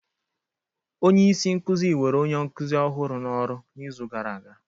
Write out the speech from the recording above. Onye isi nkuzi were onye nkuzi ọhụrụ n'oru n'izu gara aga.